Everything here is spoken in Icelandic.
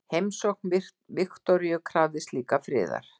Heimsókn Viktoríu krafðist líka friðar.